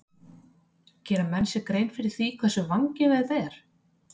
Gera menn sér grein fyrir því hversu vangefið þetta er?